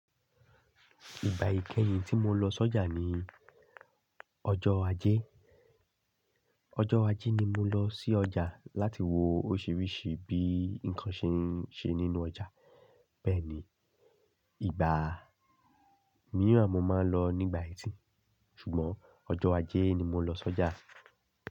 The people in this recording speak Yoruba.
Ìgbà ìkẹyìn tí mo lọ sọ́jà ni ọjọ́ ajé. Ọjọ́ ajé ni mo lọ sí ọjà láti wo óṣùrírí sí bí nǹkan ṣe n ṣe nínú ọjà. Bẹ́ẹ̀ni, ìgbà míìràn mo máa ń lọ nígbà ẹtì, ṣùgbọ́n ọjọ́ ajé ni mo lọ sọ́jà.